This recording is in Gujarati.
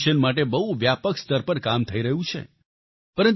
તેના સોલ્યુશન માટે બહુ વ્યાપક સ્તર પર કામ થઈ રહ્યું છે